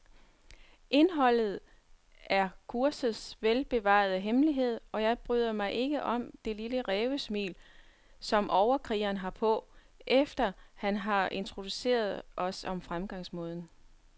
Indholdet er kursets velbevarede hemmelighed, og jeg bryder mig ikke om det lille rævesmil, som overkrigeren har på, efter han har introduceret os om fremgangsmåden.